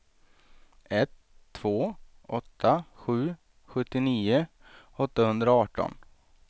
ett två åtta sju sjuttionio åttahundraarton